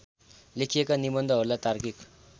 लेखिएका निबन्धहरूलाई तार्किक